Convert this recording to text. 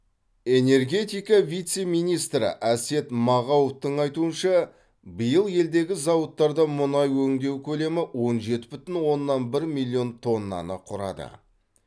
энергетика вице министрі әсет мағауовтың айтуынша биыл елдегі зауыттарда мұнай өңдеу көлемі он жеті бүтін оннан бір миллион тоннаны құрады